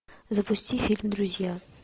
запусти фильм друзья